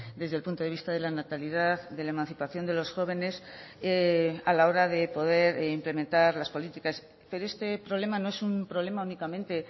desde el punto de vista de la natalidad de la emancipación de los jóvenes a la hora de poder implementar las políticas pero este problema no es un problema únicamente